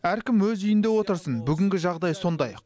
әркім өз үйінде отырсын бүгінгі жағдай сондай